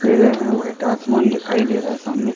वीरे हैं वाइट आसमान दिखाई दे रहा सामने--